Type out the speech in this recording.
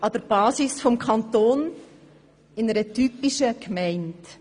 an der Basis des Kantons, in einer typischen Gemeinde.